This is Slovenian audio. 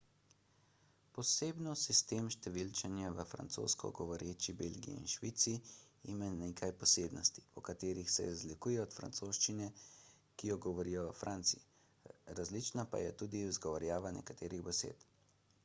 posebno sistem številčenja v francosko govoreči belgiji in švici ima nekaj posebnosti po katerih se razlikuje od francoščine ki jo govorijo v franciji različna pa je tudi izgovorjava nekaterih besed